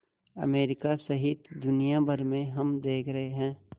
America सहित दुनिया भर में हम देख रहे हैं